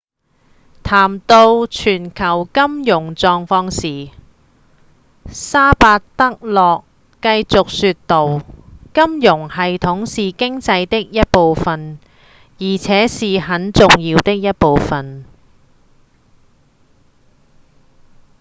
談到全球金融狀況時薩巴德洛繼續說道：「金融系統是經濟的一部份而且是很重要的一部份」